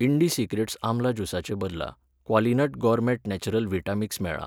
Indisecrets आमला ज्युसाचे बदला क्वॉलिनट गॉरमेट नॅचरल व्हिटा मिक्स मेळ्ळा.